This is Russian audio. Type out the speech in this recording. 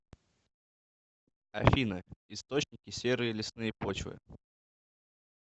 афина источники серые лесные почвы